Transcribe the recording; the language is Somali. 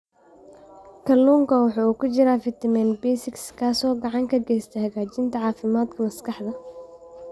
Kalluunka waxaa ku jira fitamiin B6 kaas oo gacan ka geysta hagaajinta caafimaadka maskaxda.